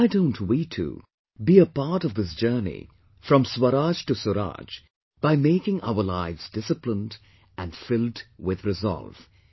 Why don't we too, be a part of this journey from 'Swaraj to Suraaj' by making our lives disciplined, and filled with resolve